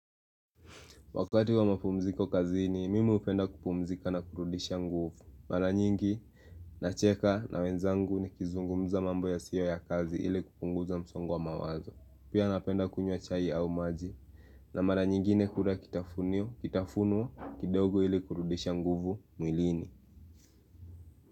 Wakati wa mapumziko kazini, mimi hupenda kupumzika na kurudisha nguvu. Mara nyingi, nacheka na wenzangu nikizungumza mambo yasiyo ya kazi ili kupunguza msongo wa mawazo. Pia napenda kunywa chai au maji. Na mara nyingine hula kitafunio, kitafunwa, kidogo ili kurudisha nguvu mwilini.